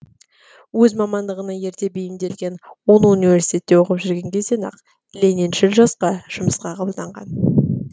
өз мамандығына ерте бейімделген ол университетте оқып жүрген кезден ақ лениншіл жасқа жұмысқа қабылданған